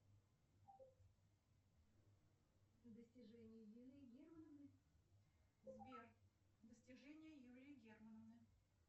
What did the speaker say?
сбер достижения юлии германовны